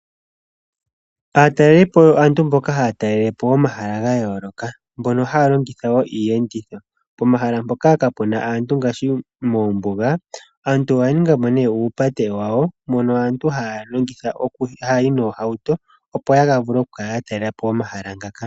Aatalelipo oyo aantu mboka haya talelepo omahala gayooloka . Mbono haya longitha iiyenditho mbyono . Pomahala mpoka kapuna ngaashi moombuga . Aantu oyaningapo uupate wawo mono aantu hayayi mohauto opo yavule okukala yatalelepo omahala ngaka.